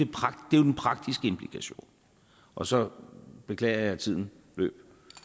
er jo den praktiske implikation og så beklager jeg at tiden løb